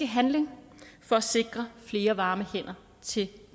handling for at sikre flere varme hænder til